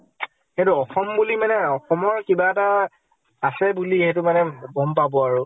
সেইতো অসম বুলি মানে, অসমৰ কিবা এটা আছে বুলি, সেইটো মানে গʼম পাব আৰু ।